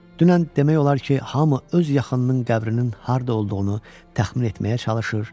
Dünən demək olar ki, hamı öz yaxınının qəbrinin harda olduğunu təxmin etməyə çalışır.